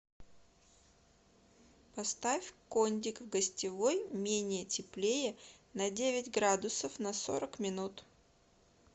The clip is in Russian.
поставь кондик в гостевой менее теплее на девять градусов на сорок минут